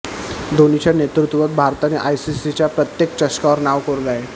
धोनीच्या नेतृत्वात भारताने आयसीसीच्या प्रत्येक चषकांवर नाव कोरले आहे